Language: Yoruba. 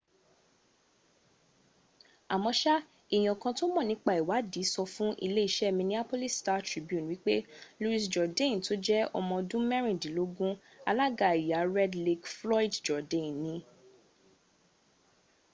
àmọ́sá èèyàn kan tó mọ̀ nípa ìwaàdí sọ fún iléeṣẹ́ minneapolis star-tribune wípé louis jourdain tó jẹ́ ọmọọdún mẹ́rìndínlógún alága ẹ̀yà red lake floyd jourdain ni